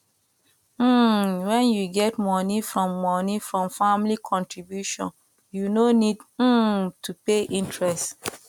um when you get money from money from family contribution you no need um to pay interest